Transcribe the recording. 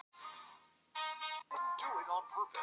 Er hægt að gera þetta öðruvísi?